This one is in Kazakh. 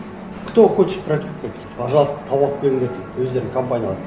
кто хочет практику пожалуйста тауып алып келіңдер дейді өздерің компанияларды